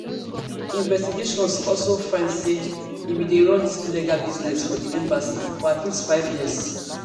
investigations don also find say im bin dey run dis illegal business for di embassy for at least five years